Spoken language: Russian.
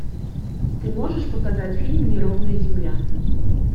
ты можешь показать фильм неровная земля